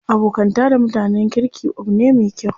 Abokanta da mutanen kirki abu ne me kyau.